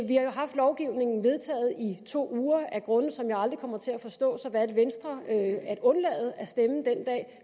lovgivningen vedtaget i to uger af grunde som jeg aldrig kommer til at forstå valgte venstre at undlade at stemme den dag